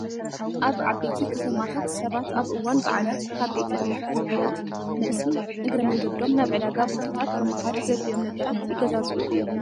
ኣብ ዓበይቲ ከተማታት ሰባት ኣብ እዋን በዓላት ካብ ቤተ እምነት ትካላት መልሲ እግረ መንገዶም ናብ ዕዳጋ ቦታታት ብምኻድ ዘድልዮም ነገራት ይገዛዝኡ እዮም።